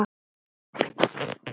mun engi maður